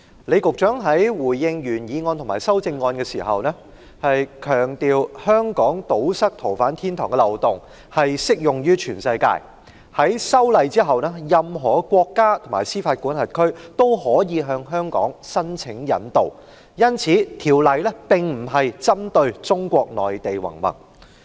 李局長在回應原議案和修正案時，強調香港要堵塞逃犯天堂的漏洞，在修例後，任何國家和司法管轄區均可以向香港申請引渡，因此修例並不是針對中國內地云云，而是適用於全世界。